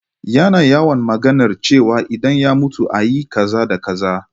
Yana yawan maganar cewa idan ya mutu ayi kaza da kaza